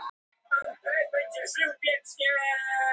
Í færeysku er það skyr og sömuleiðis í gamalli dönsku.